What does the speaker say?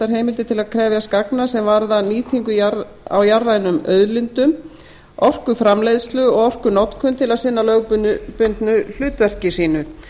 heimildir til að krefjast gagna sem varða nýtingu á jarðrænum auðlindum orkuframleiðslu og orkunotkun til að sinna lögboðnu hlutverki sínu